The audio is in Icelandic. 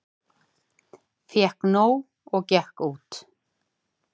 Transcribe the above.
Fékk nóg og gekk út